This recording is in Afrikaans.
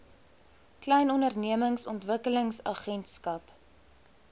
klein ondernemings ontwikkelingsagentskap